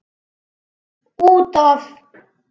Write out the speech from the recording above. Út af.